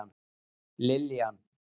Liljan